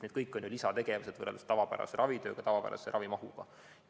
Need kõik on ju lisategevused võrreldes tavapärase ravitööga, tavapärase ravimahuga.